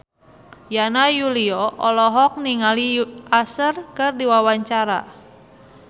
Yana Julio olohok ningali Usher keur diwawancara